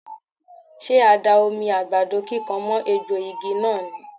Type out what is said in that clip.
Ṣé a da omi àgbàdo kíkan mọ́ egbò igi náà ni?.